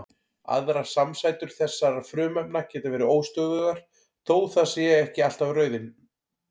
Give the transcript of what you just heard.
Aðrar samsætur þessara frumefna geta verið óstöðugar þó það sé ekki alltaf raunin.